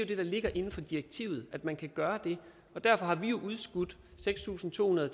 det der ligger inden for direktivet at man kan gøre det og derfor har vi jo udskudt seks tusind to hundrede